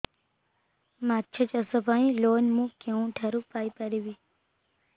ମାଛ ଚାଷ ପାଇଁ ଲୋନ୍ ମୁଁ କେଉଁଠାରୁ ପାଇପାରିବି